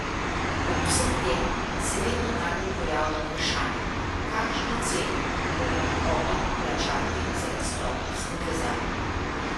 Ob vsem tem se vedno bolj pojavlja vprašanje, kakšno ceno bo moral Otok plačati za izstop iz povezave.